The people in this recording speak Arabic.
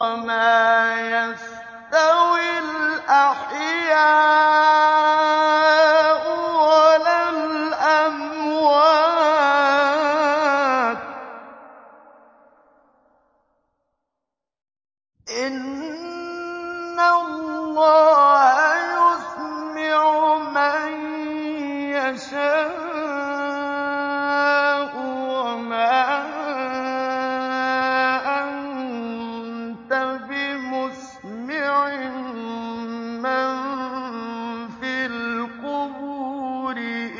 وَمَا يَسْتَوِي الْأَحْيَاءُ وَلَا الْأَمْوَاتُ ۚ إِنَّ اللَّهَ يُسْمِعُ مَن يَشَاءُ ۖ وَمَا أَنتَ بِمُسْمِعٍ مَّن فِي الْقُبُورِ